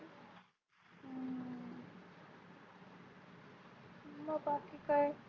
मंग बाकी काय?